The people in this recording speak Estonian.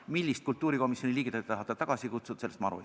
Millist kultuurikomisjoni liiget te tahate tagasi kutsuda?